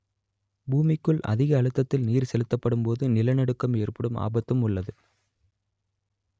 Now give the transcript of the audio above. பூமிக்குள் அதிக அழுத்தத்தில் நீர் செலுத்தப்படும் போது நிலநடுக்கம் ஏற்படும் ஆபத்தும் உள்ளது